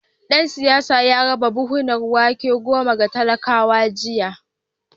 Dan siyasar ya raba buhunan wake goma ga talakawa jiya